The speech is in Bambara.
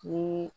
Ni